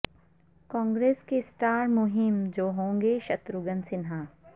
کانگریس کے اسٹار مہم جو ہوں گے شتروگھن سنہا